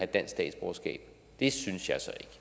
dansk statsborgerskab det synes